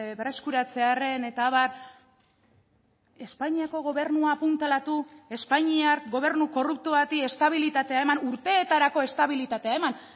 berreskuratzearren eta abar espainiako gobernua apuntalatu espainiar gobernu korrupto bati estabilitatea eman urteetarako estabilitatea eman